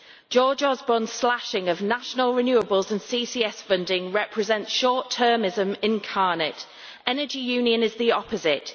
George Osborne's slashing of national renewables in CCS funding represents short-termism incarnate. Energy Union is the opposite.